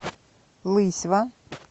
лысьва